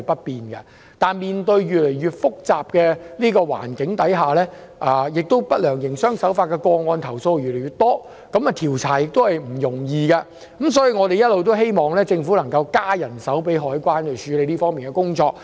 然而，面對越來越複雜的環境，投訴不良營商手法的個案越來越多，調查亦不容易。我們一直希望政府能增加海關人手，處理這方面的工作。